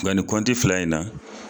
Nga nin kɔnti fila in na